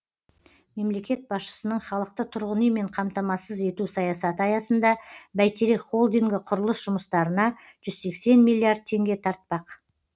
мемлекет басшысының халықты тұрғын үймен қамтамассыз ету саясаты аясында бәйтерек холдингі құрылыс жұмыстарына жүз сексен миллиард теңге тартпақ